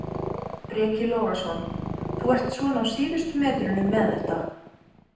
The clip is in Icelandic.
Breki Logason: Þú ert svona á síðustu metrunum með þetta?